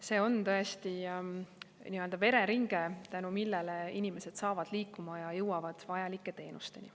See on tõesti nii-öelda vereringe, tänu millele inimesed saavad liikuma ja jõuavad vajalike teenusteni.